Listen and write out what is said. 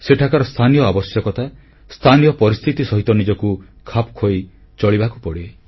ସେଠାକାର ସ୍ଥାନୀୟ ଆବଶ୍ୟକତା ସ୍ଥାନୀୟ ପରିସ୍ଥିତି ସହିତ ନିଜକୁ ଖାପ ଖୁଆଇ ଚଳିବାକୁ ପଡ଼େ